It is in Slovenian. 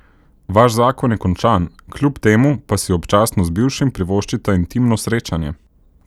Vaš zakon je končan, kljub temu pa si občasno z bivšim privoščita intimno srečanje.